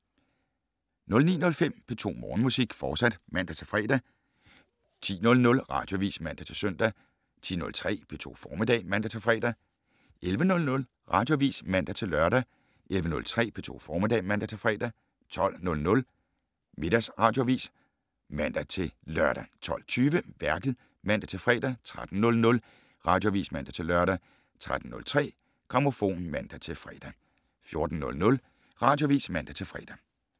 09:05: P2 Morgenmusik, fortsat (man-fre) 10:00: Radioavis (man-søn) 10:03: P2 Formiddag (man-fre) 11:00: Radioavis (man-lør) 11:03: P2 Formiddag (man-fre) 12:00: Radioavis (man-lør) 12:20: Værket (man-fre) 13:00: Radioavis (man-lør) 13:03: Grammofon (man-fre) 14:00: Radioavis (man-fre)